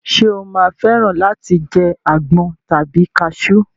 Ṣé o máa fẹ́ràn láti jẹ àgbọn tàbí kasú?